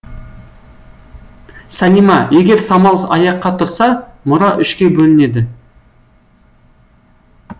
салима егер самал аяққа тұрса мұра үшке бөлінеді